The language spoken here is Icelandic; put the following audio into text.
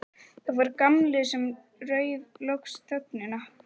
Það var Gamli sem rauf loks þögnina.